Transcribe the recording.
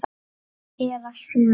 Eða sjö.